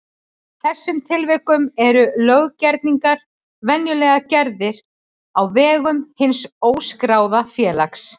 þessum tilvikum eru löggerningar venjulega gerðir á vegum hins óskráða félags.